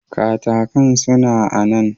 Katakan suna a nan.